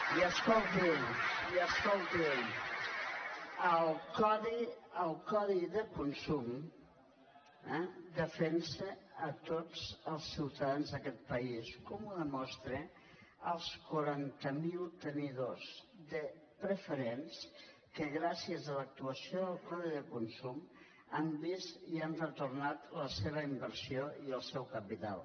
i escolti’m i escolti’m el codi de consum defensa tots els ciutadans d’aquest país com ho demostren els quaranta mil tenidors de preferents que gràcies a l’actuació del codi de consum han vist i han retornat la seva inversió i el seu capital